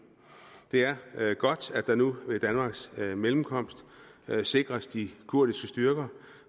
det er godt at der nu ved danmarks mellemkomst sikres de kurdiske styrker